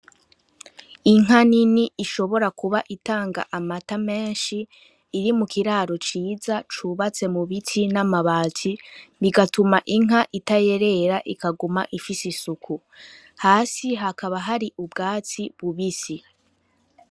Inka nini ishobora kuba itanga amata meshi iri mu kiraro ciza cubatse mu biti n'amabati bigatuma inka itayerera ikaguma ifise isuku, Hasi hakaba hari ubwatsi bubisi.